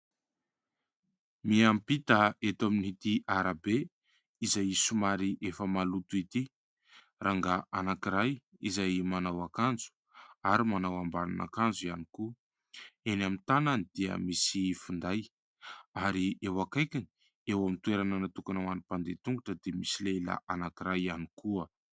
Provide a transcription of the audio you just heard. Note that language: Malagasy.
Miampita eto amin'n' ity arabe izay somary efa maloto ity rangahy anankiray izay manao akanjo ary manao ambanina akanjo ihany koa. Eny amin'ny tananany dia misy finday ary eo akaikiny eo amin'ny toerana natokona ho any mpandeha tongotra dia misy lehilahy anankiray ihany koa.